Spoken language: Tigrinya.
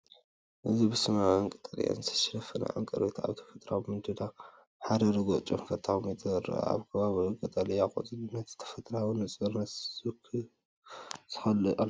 እዚ ብሰማያውን ቀጠልያን ዝተሸፈነ ዕንቅርቢት ኣብ ተፈጥሮኣዊ ምድላው ኣብ ሓደ ርጉእ ጨንፈር ተቐሚጡ ይረአ። ኣብ ከባቢኡ ዘሎ ቀጠልያ ቆጽሊ ነቲ ተፈጥሮኣዊ ንጹርነት ይውስኸሉ ኣሎ።